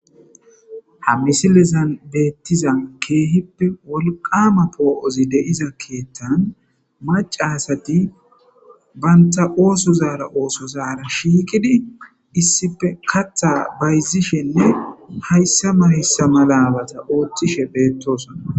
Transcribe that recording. Ha misilen betiza kehippe wolqama po'ozi po'iza kethan maca asati banta osozara osozara shiqidi issippe kaatha bayzishenne haysa mala haysa malabata othishe beetosona.